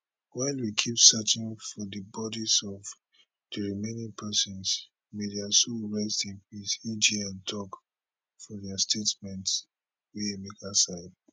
while we keep searching for di bodis of di remaining pesins may dia soul rest in peace agn tok for dia statement wey emeka sign